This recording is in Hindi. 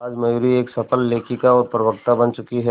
आज मयूरी एक सफल लेखिका और प्रवक्ता बन चुकी है